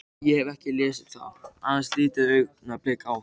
Ég hefi ekki lesið það, aðeins litið augnablik á það.